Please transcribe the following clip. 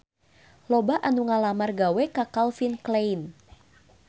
Loba anu ngalamar gawe ka Calvin Klein